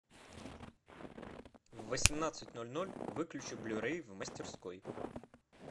в восемнадцать ноль ноль выключи блю рей в мастерской